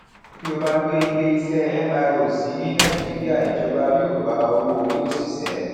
tí o bá gbé iléiṣẹ mro sí nàìjíríà ìjọba yóò gba owóori òṣìṣẹ